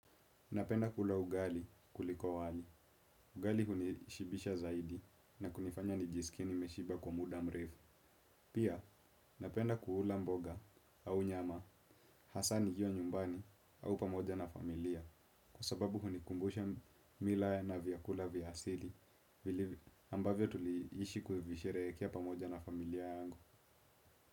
Napenda kula ugali kuliko wali. Ugali hunishibisha zaidi na kunifanya nijiskie nimeshiba kwa muda mrefu pia napenda kuula mboga au nyama asa nikiwa nyumbani au pamoja na familia kwasababu hunikumbusha mila na vyakula vya asili ambavyo tuliishi kuivisherekea pamoja na familia yangu.